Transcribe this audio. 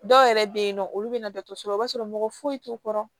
Dɔw yɛrɛ bɛ yen nɔ olu bɛna dɔtɔrɔsola i b'a sɔrɔ mɔgɔ foyi t'u kɔrɔ